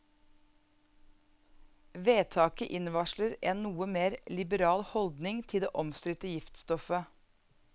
Vedtaket innvarsler en noe mer liberal holdning til det omstridte giftstoffet.